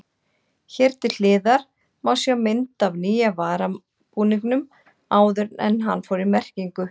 Hér til hliðar má sjá mynd af nýja varabúningnum áður en hann fór í merkingu.